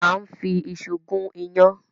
À ń fi iṣu gún iyán.